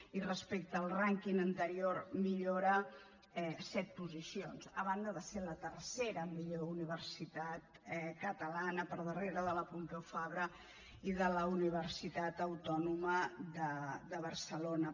i respecte al rànquing anterior millora set posicions a banda de ser la tercera millor universitat catalana per darrere de la pompeu fabra i de la universitat autònoma de barcelona